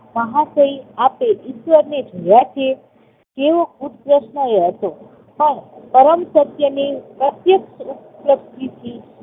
મહાશય આપે ઈશ્વરને જોયા છે? તેઓ કૃતજ્ઞ હતો પણ પરમસત્યની પ્રત્યેક ઉપલબ્ધિથી